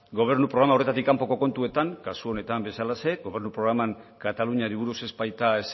gobernu programa horretatik kanpoko kontuetan kasu honetan bezalaxe gobernu programan kataluniari buruz ez baita